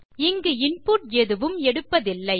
இங்கு இன்புட் எதுவும் எடுப்பதில்லை